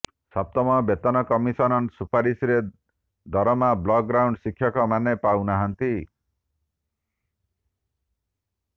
ସପ୍ତମ ବେତନ କମିଶନ ସୁପାରିଶରେ ଦରମା ବ୍ଲକ ଗ୍ରାଣ୍ଡ ଶିକ୍ଷକ ମାନେ ପାଉନାହାନ୍ତି